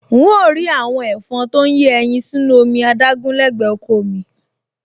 N óò rí àwọn ẹ̀fọn tó ń yé ẹyin sínú omi adágún lẹ́gbẹ̀ẹ́ oko ò mi